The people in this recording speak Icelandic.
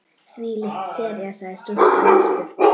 Þvílík sería sagði stúlkan aftur.